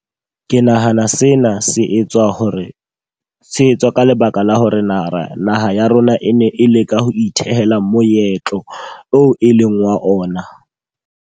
Ke nahana sena se etswa hore se etswa ka lebaka la hore naha naha ya rona e ne e leka ho ithehela moetlo oo e leng wa ona.